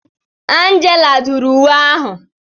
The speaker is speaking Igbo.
Angela dụrụ uwe ahụ.